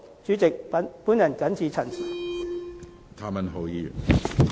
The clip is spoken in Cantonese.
主席，我謹此陳辭。